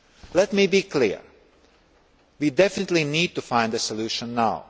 Let me be clear we definitely need to find a solution